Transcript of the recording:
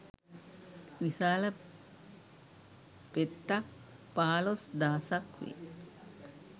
විශාල පෙත්තක් පහළොස් දහසක් වේ.